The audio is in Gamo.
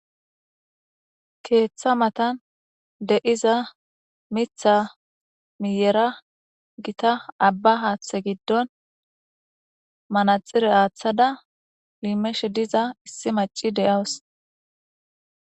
Keeththa matan de7iza mitha miyera gita abba haaththe giddon manaxire aaththada liimeshe diza issi maci de7aws.